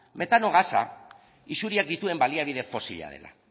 betano gasa isuriak dituen baliabide fosila dela